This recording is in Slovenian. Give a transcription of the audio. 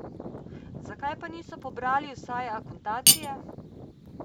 Zakaj pa niso pobrali vsaj akontacije?